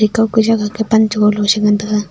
ekauke jagah ke pan che goh lo chi ngan taga.